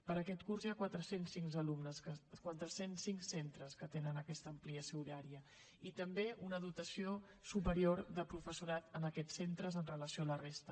per a aquest curs hi ha quatre cents i cinc centres que tenen aquesta ampliació horària i també una dotació superior de professorat en aquests centres amb relació a la resta